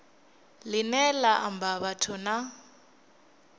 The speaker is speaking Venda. line la amba vhathu na